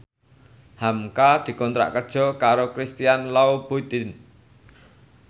hamka dikontrak kerja karo Christian Louboutin